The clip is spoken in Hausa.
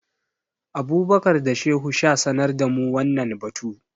Abubakar da Shehu sha sanar da mu wannan batu.